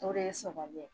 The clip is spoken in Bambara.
O de ye sɔgɔgɔli ye